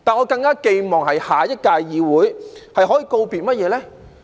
不過，在下一屆議會，我更寄望告別甚麼呢？